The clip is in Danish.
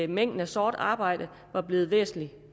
mængden af sort arbejde var blevet væsentlig